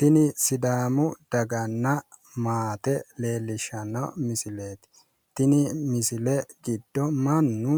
Tini sidaamu daganna maate leellishanno misileeti tini misile giddo mannu